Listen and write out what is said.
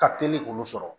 Ka teli k'olu sɔrɔ